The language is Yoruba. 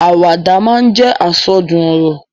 Àwàdà máa ń jẹ́ àsọdùn ọ̀rọ̀.